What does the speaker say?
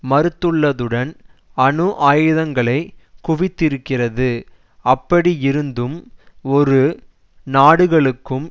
மறுத்துள்ளதுடன் அணு ஆயுதங்களை குவித்திருக்கிறது அப்படியிருந்தும் இரு நாடுகளுக்கும்